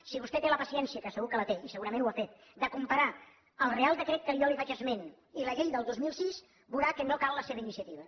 si vostè té la paciència que segur que la té i segurament ho ha fet de comparar el reial decret de què jo li faig esment i la llei del dos mil sis veurà que no cal la seva iniciativa